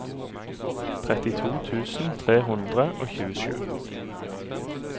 trettito tusen tre hundre og tjuesju